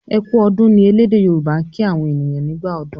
"e kú ọdún" ní ẹlẹdẹ yoruba' kín àwọn ènìyàn nígbà ọdún